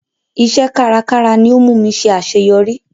Iṣẹ́ kárakára ni ó múmi ṣe àṣẹyọrí.